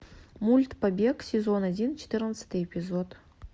мульт побег сезон один четырнадцатый эпизод